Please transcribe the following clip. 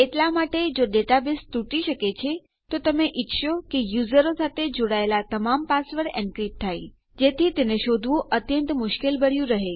એટલા માટે જો ડેટાબેઝ તૂટી શકે છે તો તમે ઇચ્છશો કે યુઝરો સાથે જોડાયેલા તમામ પાસવર્ડ એનક્રીપ્ટ થાય જેથી તેને શોધવું અત્યંત મુશ્કેલભર્યું રહે